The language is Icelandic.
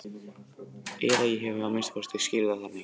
Eða ég hef að minnsta kosti skilið það þannig.